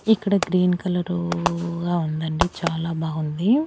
ఇక్కడ green colour గా ఉండండి చాలా బావుంది.